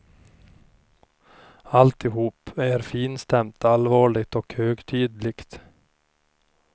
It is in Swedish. Alltihop är finstämt, allvarligt och högtidligt.